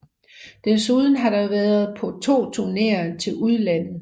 Desuden har det været på 2 turneer til udlandet